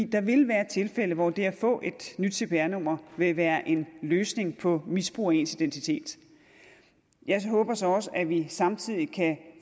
der vil være tilfælde hvor det at få et nyt cpr nummer vil være en løsning på misbrug af ens identitet jeg håber så også at vi samtidig kan